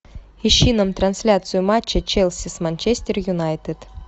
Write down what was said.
ищи нам трансляцию матча челси с манчестер юнайтед